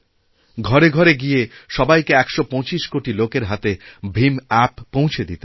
ঘরেঘরে গিয়ে সবাইকে নিয়ে ১২৫ কোটি লোকের হাতে ভীম অ্যাপ পৌঁছে দিতে হবে